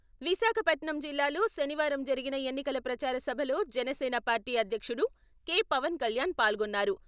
విశాఖపట్నం జిల్లాలో శనివారం జరిగిన ఎన్నికల ప్రచార సభలో జనసేన పార్టీ అధ్యక్షుడు కె.పవన్ కళ్యాణ్ పాల్గొన్నారు.